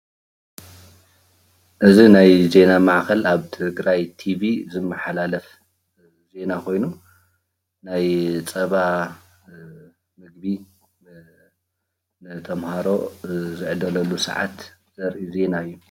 እዚ ናይ ዜና ማእኸል ኣብ ትግራይ ቲቪ ዝመሓላለፍ ዜና ኾይኑ ናይ ፀባ ምግቢ ንተምሃሮ ዝዕደለሉ ስዓት ዘርኢ ዜና እዩ።